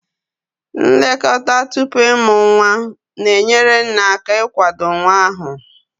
Nlekọta tupu ịmụ nwa na-enyere nne aka ịkwado nwa ahụ.